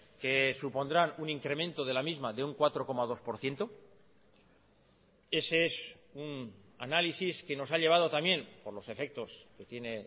que supondrán un incremento de la misma de un cuatro coma dos por ciento ese es un análisis que nos ha llevado también por los efectos que tiene